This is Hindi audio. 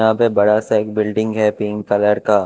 यहां पे बड़ा सा एक बिल्डिंग है पिंक कलर का।